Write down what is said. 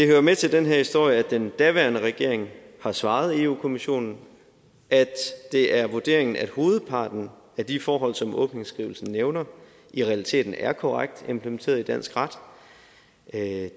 jo med til den her historie at den daværende regering har svaret europa kommissionen at det er vurderingen at hovedparten af de forhold som åbningsskrivelsen nævner i realiteten er korrekt implementeret i dansk ret det